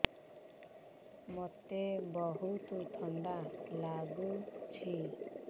ମୋତେ ବହୁତ୍ ଥକା ଲାଗୁଛି